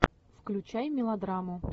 включай мелодраму